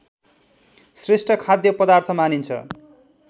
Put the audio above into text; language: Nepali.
श्रेष्ठ खाद्य पदार्थ मानिन्छ